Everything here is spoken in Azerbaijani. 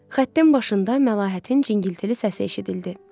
Xəttin başında Məlahətin cingiltili səsi eşidildi.